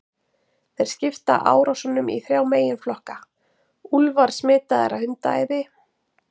Þeir skipta árásunum í þrjá meginflokka: Úlfar smitaðir af hundaæði.